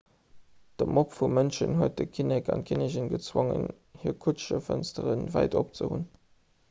de mob vu mënschen huet den kinnek an d'kinnigin gezwongen hir kutschefënstere wäit op ze hunn